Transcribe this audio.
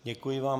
Děkuji vám.